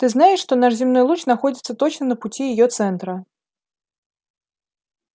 ты знаешь что наш земной луч находится точно на пути её центра